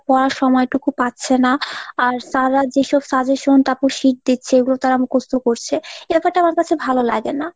পড়ার সময়টুকু পাচ্ছে না। আর sir রা যেসব suggestion তারপর sheet দিচ্ছে এগুলো তারা মুখস্ত করছে। এ ব্যাপারটা আমার কাছে ভালোলাগে না।